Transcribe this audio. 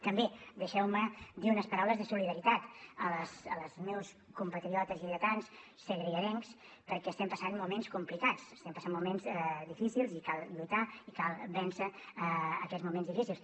també deixeu me dir unes paraules de solidaritat als meus compatriotes lleidatans segrianencs perquè estem passant moments complicats estem passant moments difícils i cal lluitar i cal vèncer aquests moments difícils